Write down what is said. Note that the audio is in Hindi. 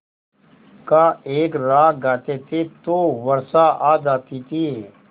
का एक राग गाते थे तो वर्षा आ जाती थी